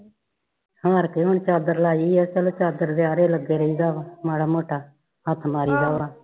ਹਾਰ ਕੇ ਹੁਣ ਚਾਦਰ ਲਾਈ ਹੈ ਚਲੋ ਚਾਦਰ ਦੇ ਆਰੇ ਲਗੇ ਰਾਈਦਾ ਵਾ ਮਾੜਾ ਮੋਟਾ ਹੱਥ ਮਾਰੀਦਾ ਵਾ